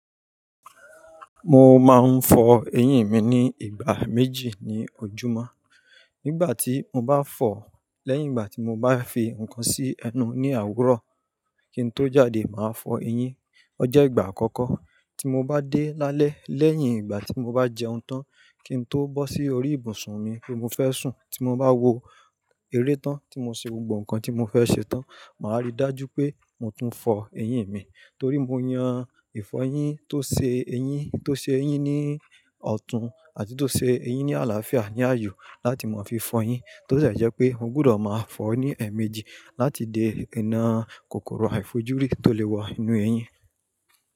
Mo máa ń fọ eyín mi ní ìgbà méjì ní ojúmọ́. Nígbà tí mo bá fọ̀ lẹ́yìn ìgbà tí mo bá fi ǹkan sí ẹnu ní àwúrọ̀ kí n tó jáde, màá fọ eyín. O jẹ́ ìgbà àkọ́kọ́. Tí mo bá dé lálẹ́ lẹ́yìn ìgbà tí mo bá jẹun tán kí n tó bọ́ sí orí ibùsùn mi pe mo fẹ́ sùn, tí mo bá wo eré tán, tí mo ṣe gbogbo ǹkan tí mo fẹ́ ṣe tán, màá rí i dájú pé mo tún fọ eyín mi. Torí mo yàn ìfọyín tó ṣe eyín, tó ṣe eyín ní ọ̀tún àti tó ṣe eyín ní àlàáfíà ní àyò láti màá fi fọ yín tó sì jẹ́ pé mo gbúdọ̀ máa fọ ọ́ ní ẹ̀ẹ̀mejì láti dè iná kòkòrò àìfojúrí tó lè wọ inú eyín.